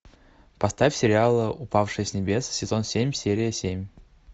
поставь сериал упавшие с небес сезон семь серия семь